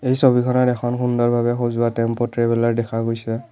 এই ছবিখনত এখন সুন্দৰভাৱে সজোৱা টেম্প' ট্ৰেভেলাৰ দেখা গৈছে।